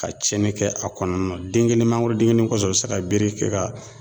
Ka cɛnni kɛ a kɔnɔna na den kelen mangorodennin kelen kɔsɔn u be se ka bere kɛ ka